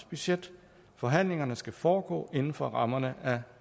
budget forhandlingerne skal foregå indenfor rammerne af